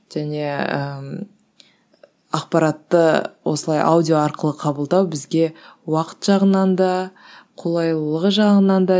және ііі ақпаратты осылай аудио арқылы қабылдау бізге уақыт жағынан да қолайлылығы жағынан да